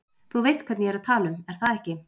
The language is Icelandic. Þú veist hvern ég er að tala um er það ekki?